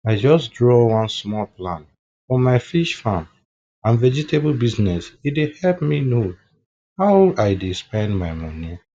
i just draw one small plan for my fish farm and vegetable business e dey help me know how i dey spend my money